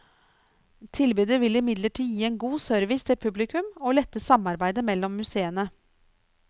Tilbudet vil imidlertid gi en god service til publikum, og lette samarbeidet mellom museene.